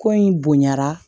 Ko in bonyara